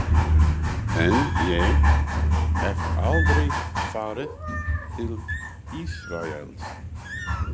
En ég hef aldrei farið til Ísraels.